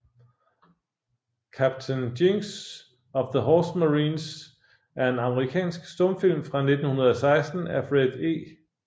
Captain Jinks of the Horse Marines er en amerikansk stumfilm fra 1916 af Fred E